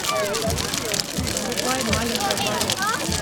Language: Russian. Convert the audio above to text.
врубай маленькая бородка